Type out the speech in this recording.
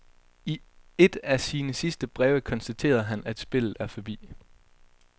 I et af sine sidste breve konstaterede han at spillet er forbi.